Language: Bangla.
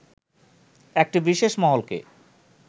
একটি বিশেষ মহলকে